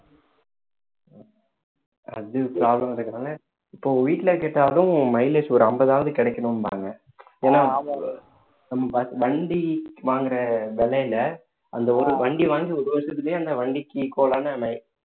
அது problem இருக்கறதுனால இப்போ வீட்டுல கேட்டாலும் mileage ஒரு ஐம்பதாவது கிடைக்கணும்பாங்க ஏன்னா நம்ம பாத்து வண்டி வாங்குற விலையில அந்த ஒரு வண்டி வாங்கி ஒரு வருஷத்துலயே அந்த வண்டிக்கு equal ஆன நம்ம